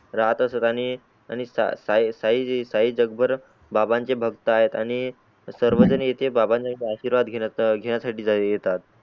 राहतात असत आणि त्या साई साई जग भर बाबांचे भक्त आहे सर्वजणे बाबांचे आशीर्वाद घेण्या साठी येतात.